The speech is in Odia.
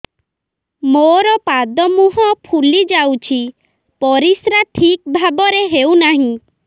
ମୋର ପାଦ ମୁହଁ ଫୁଲି ଯାଉଛି ପରିସ୍ରା ଠିକ୍ ଭାବରେ ହେଉନାହିଁ